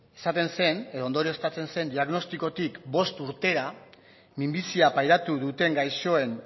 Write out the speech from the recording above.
esaten zen edo ondorioztatzen zen diagnostikotik bost urtera minbizia pairatu duten gaixoen